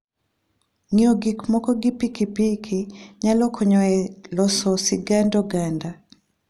Ng'iyo gik moko gi pikipiki nyalo konyo e loso sigand oganda.